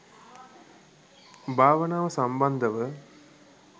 භාවනාව සම්බන්ධව